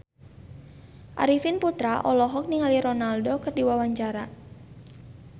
Arifin Putra olohok ningali Ronaldo keur diwawancara